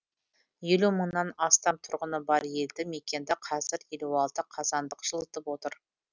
елу мыңнан астам тұрғыны бар елді мекенді қазір елу алты қазандық жылытып отыр